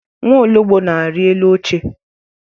Nwologbo na-ari elu oche.